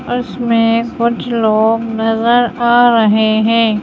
उसमें कुछ लोग नजर आ रहे हैं।